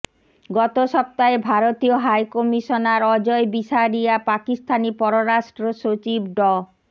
গত সপ্তাহে ভারতীয় হাইকমিশনার অজয় বিসারিয়া পাকিস্তানি পররাষ্ট্রসচিব ড